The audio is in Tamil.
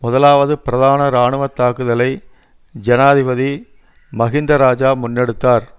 முதலாவது பிரதான இராணுவ தாக்குதலை ஜனாதிபதி மஹிந்த இராஜா முன்னெடுத்தார்